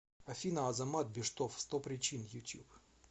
афина азамат биштов сто причин ютуб